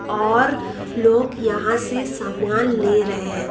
और लोग यहां से सामान ले रहे--